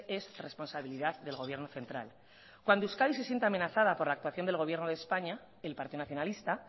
es responsabilidad del gobierno central cuando euskadi se siente amenazada por la actuación del gobierno de españa el partido nacionalista